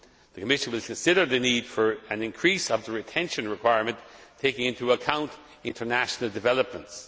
The Committee will consider the need for an increase of the retention requirement, taking into account international developments.